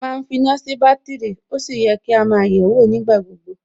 ma ń finá sí bátìrì, ó yẹ kí á máa yẹ̀ẹ́wò nígbà gbogbo